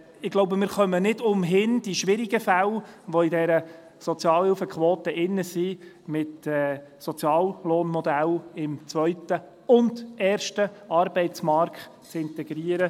Ich glaube, wir kommen nicht umhin, die schwierigen Fälle, die in dieser Sozialhilfequote drin sind, mit Soziallohnmodellen im zweiten und ersten Arbeitsmarkt zu integrieren.